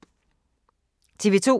TV 2